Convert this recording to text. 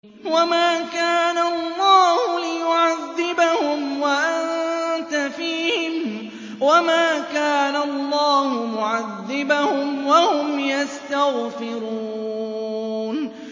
وَمَا كَانَ اللَّهُ لِيُعَذِّبَهُمْ وَأَنتَ فِيهِمْ ۚ وَمَا كَانَ اللَّهُ مُعَذِّبَهُمْ وَهُمْ يَسْتَغْفِرُونَ